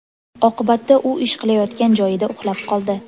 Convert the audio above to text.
Oqibatda u ish qilayotgan joyida uxlab qoldi.